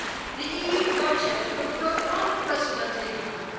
The EU budget will grow unprecedentedly high.